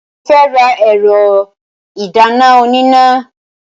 Mo fẹ́ ra ẹ̀rọ ìdáná oníná.